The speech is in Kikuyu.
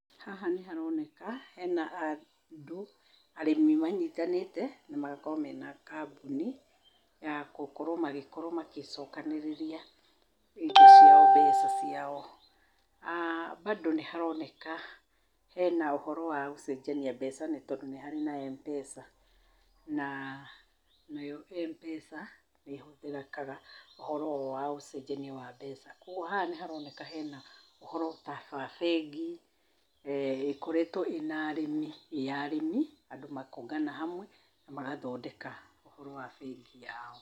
Haha nĩharoneka hena andũ arĩmi manyitanĩte magakorwo mena kambuni ya gũkorwo magĩcokanĩrĩria mbeca ciao. Aa bado nĩharoneka hena ũhoro wagũcenjania mbeca nĩtondũ nĩharĩ na Mpesa. Nayo Mpesa nĩhũthĩkaga ũhoro wa ũcenjania wa mbeca. Kuogwo haha nĩharoneka hena ũhoro wa bengi na ĩkoretwo ĩya arĩmi, andũ makongana hamwe na magathondeka ũhoro wa bengi yao.